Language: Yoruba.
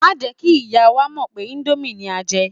Má jẹ́ kí ìyá wa mọ̀ pé íńdómì ni a fẹ́ jẹ.